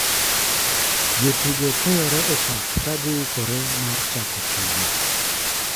Jotugo keyore e pap ka gi ikore mar chako tugo.